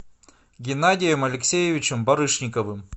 геннадием алексеевичем барышниковым